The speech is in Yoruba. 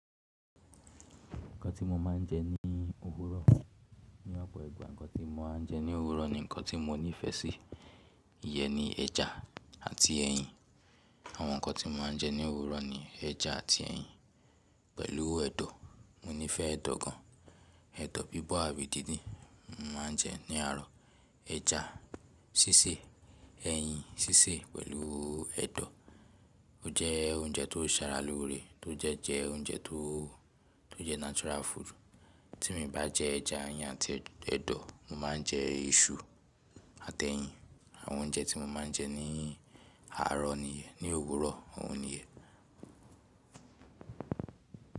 Nǹkan tí mo máa ń jẹ ní òwúrọ̀, ní ọ̀pọ̀ ìgbà nǹkan tí mo máa ń jẹ ní òwúrọ̀ ni nǹkan tí mo nífẹ̀ẹ́ sí, iyẹn ni ẹja àti ẹyin. Àwọn nǹkan tí mo máa ń jẹ ní òwúrọ̀ ni ẹja àti ẹyin pẹ̀lú ẹ̀dọ̀. Mo nífẹ̀ẹ́ ẹ̀dọ̀ gan, ẹ̀dọ̀ bíbọ̀ àbí dídìn, mo máa ń jẹ ní àárọ̀. Ẹja sísè, ẹyin sísè pẹ̀lú ẹ̀dọ̀. Ó jẹ́ oúnjẹ tó ṣara lóore, tó jẹ́ jẹ oúnjẹ tó, tó jẹ́ natural food. Tí mo bá jẹ ẹja, ẹyin àti ẹ̀dọ̀, mo máa ń jẹ iṣu àti ẹyin. Àwọn oúnjẹ tí mo máa ń jẹ ní àárọ̀ nìyẹn, ní òwúrọ̀ òun nìyẹn.